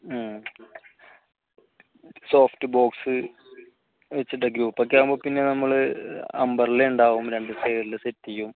soft box -വെച്ചിട്ടൊക്കെയാ ആകുമ്പോൾ പിന്നെ നമ്മൾ umbrella ഉണ്ടാവും രണ്ട് side ലും set ചെയ്യും